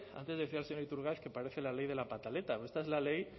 antes decía el señor iturgaiz que parece la ley de la pataleta pero esta es la ley